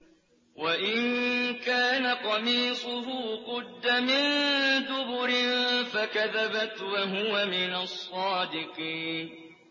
وَإِن كَانَ قَمِيصُهُ قُدَّ مِن دُبُرٍ فَكَذَبَتْ وَهُوَ مِنَ الصَّادِقِينَ